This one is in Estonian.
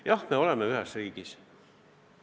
Jah, me elame ühes riigis.